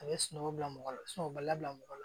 A bɛ sunɔgɔ bila mɔgɔ la sunɔgɔ bali bila mɔgɔ la